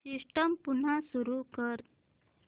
system पुन्हा सुरू कर